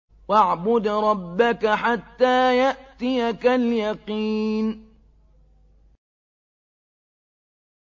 وَاعْبُدْ رَبَّكَ حَتَّىٰ يَأْتِيَكَ الْيَقِينُ